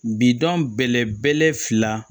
Bidɔn bɛlɛbɛlɛ fila